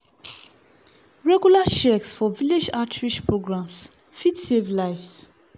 regular checks for village outreach programs fit save lives.